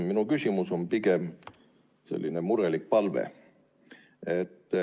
Minu küsimus on pigem selline murelik palve.